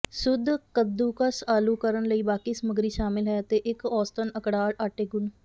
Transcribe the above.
ਸ਼ੁੱਧ ਕੱਦੂਕਸ ਆਲੂ ਕਰਨ ਲਈ ਬਾਕੀ ਸਮੱਗਰੀ ਸ਼ਾਮਿਲ ਹੈ ਅਤੇ ਇੱਕ ਔਸਤਨ ਅਕੜਾਅ ਆਟੇ ਗੁਨ੍ਹ